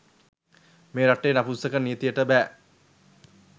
මේ රටේ නපුංසක නීතියට බැ..